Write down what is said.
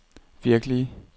virkelige